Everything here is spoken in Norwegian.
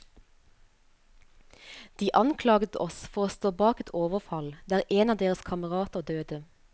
De anklaget oss for å stå bak et overfall der en av deres kamerater døde.